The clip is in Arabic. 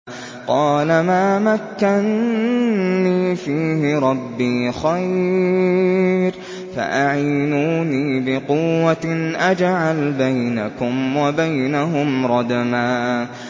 قَالَ مَا مَكَّنِّي فِيهِ رَبِّي خَيْرٌ فَأَعِينُونِي بِقُوَّةٍ أَجْعَلْ بَيْنَكُمْ وَبَيْنَهُمْ رَدْمًا